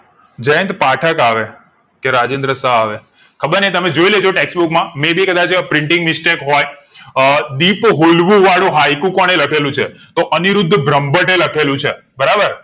જયંત પાઠક આવે કે રાજેન્દ્ર શાહ આવે કબર નહિ તમે જોઈ લેજો text book માં may be કદાચ printing mistake હોય અ દીપ હોલવું વાળુ હાઈકુ કોને લખેલું છે તો અનિરુદ્ધ બ્રહ્મભટ્ટ લખેલુ છે બરાબર